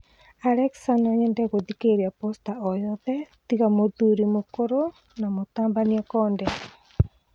Alexa no nyende gũthikĩrĩria poster o yothe tiga mũthuri mũkũrũ na mũtabania Konde